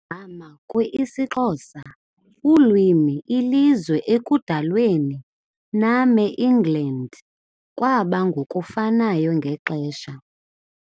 igama kwi - isixhosa, ulwimi ilizwe ekudalweni name, England, kwaba ngokufanayo ngexesha.